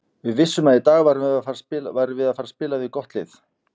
Við vissum að í dag værum við að fara spila við gott lið.